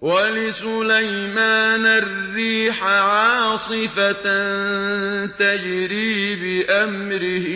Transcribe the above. وَلِسُلَيْمَانَ الرِّيحَ عَاصِفَةً تَجْرِي بِأَمْرِهِ